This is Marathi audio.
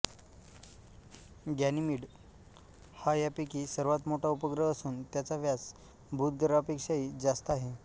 गॅनिमिड हा यापैकी सर्वांत मोठा उपग्रह असून त्याचा व्यास बुध ग्रहापेक्षाही जास्त आहे